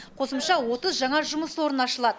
қосымша отыз жаңа жұмыс орны ашылады